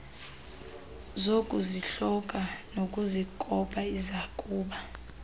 zokuzihlola nokuzikopa isakuba